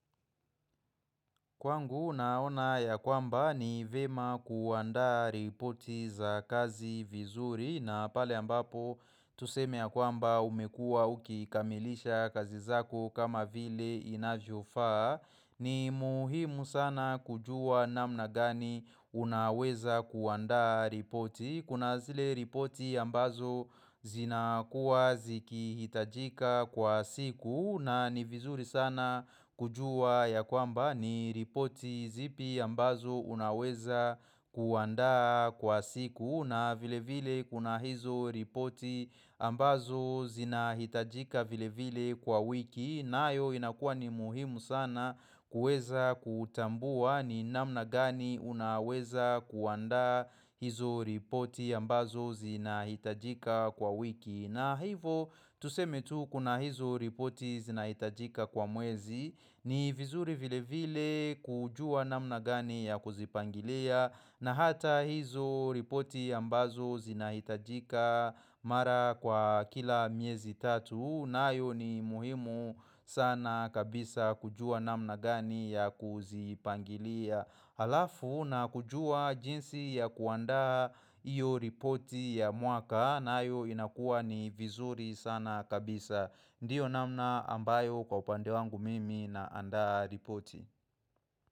Kwangu naona ya kwamba ni vyema kuandaa ripoti za kazi vizuri na pale ambapo tuseme ya kwamba umekuwa ukikamilisha kazi zako kama vile inavyo faa ni muhimu sana kujua namna gani unaweza kuandaa ripoti. Kuna zile ripoti ambazo zina kuwa ziki hitajika kwa siku na ni vizuri sana kujua ya kwamba ni ripoti zipi ambazo unaweza kuandaa kwa siku na vile vile kuna hizo ripoti ambazo zina hitajika vile vile kwa wiki nayo inakua ni muhimu sana kueza kutambua ni namna gani unaweza kuandaa hizo ripoti ambazo zinahitajika kwa wiki. Na hivo tuseme tu kuna hizo ripoti zinahitajika kwa mwezi ni vizuri vile vile kujua namna gani ya kuzipangilia na hata hizo ripoti ambazo zinahitajika mara kwa kila miezi tatu nayo ni muhimu sana kabisa kujua namna gani ya kuzipangilia alafu na kujua jinsi ya kuanda hiyo ripoti ya mwaka nayo inakuwa ni vizuri sana kabisa Ndiyo namna ambayo kwa upande wangu mimi naanda ripoti.